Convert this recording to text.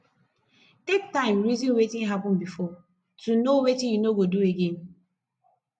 take time reason wetin happen before to know wetin you no go do again